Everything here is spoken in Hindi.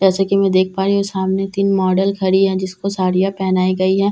जैसे की मैं देख पा रही हूँ सामने तीन मॉडल खड़ी हैं जिसको साड़ियाँ पहनाई गई है और एक को --